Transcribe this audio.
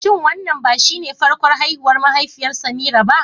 Shin wannan ba shine farkon haihuwar mahaifiyar Semira ba?